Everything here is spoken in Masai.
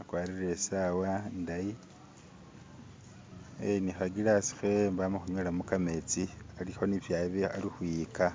akwarire isawa indayi ee nihagilasi hewe mbo amahunywa kametsi aliho ni byali ali hwiyika